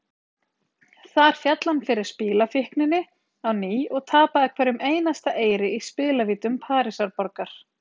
Þar féll hann fyrir spilafíkninni á ný og tapaði hverjum einasta eyri í spilavítum Parísarborgar.